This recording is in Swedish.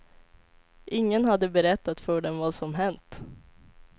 Ingen hade berättat för dem vad som hänt.